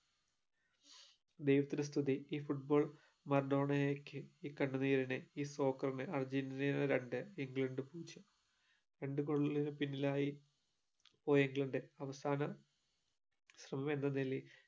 ദൈവത്തിനു സ്തുതി ഈ football മറഡോണയ്ക് ഈ കണ്ണുനീരിന് ഈ ഫ്രോകറിന് അർജന്റീനയ്ക് രണ്ട് ഇംഗ്ലണ്ടിന് പൂജ്യം രണ്ട് കൊല്ലം പിന്നിലായി പ്പോയെങ്കിലെന്താ അവസാന ശ്രമം എന്ന നിലയിൽ